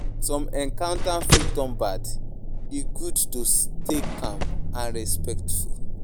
Some encounters fit turn bad; e good to stay calm and respectful.